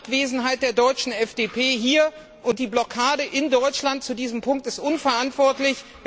Die Abwesenheit der deutschen FDP hier und die Blockade in Deutschland zu diesem Punkt sind unverantwortlich.